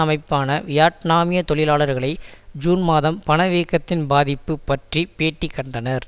அமைப்பான வியட்நாமிய தொழிலாளர்களை ஜூன் மாதம் பணவீக்கத்தின் பாதிப்பு பற்றி பேட்டி கண்டனர்